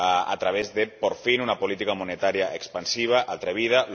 a través de, por fin, una política monetaria expansiva atrevida.